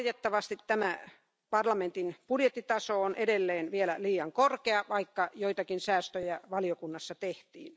Valitettavasti tämä parlamentin budjettitaso on edelleen vielä liian korkea, vaikka joitakin säästöjä valiokunnassa tehtiin.